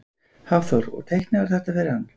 Hafþór: Og teiknaðirðu þetta fyrir hann?